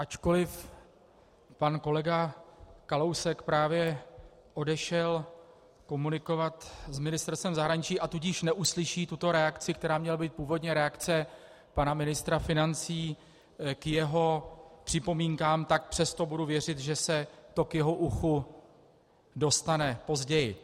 Ačkoliv pan kolega Kalousek právě odešel komunikovat s Ministerstvem zahraničí, a tudíž neuslyší tuto reakci, která měla být původně reakce pana ministra financí k jeho připomínkám, tak přesto budu věřit, že se to k jeho uchu dostane později.